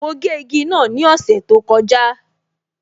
Mo gé igi náà ni ọ̀sẹ̀ tó kọjá